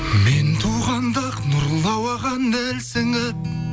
мен туғанда ақ нұрлы ауаға нәр сіңіп